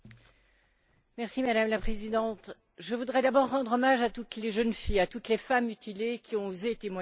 Madame la Présidente, je voudrais d'abord rendre hommage à toutes les jeunes filles, à toutes les femmes mutilées, qui ont osé témoigner de leur souffrance.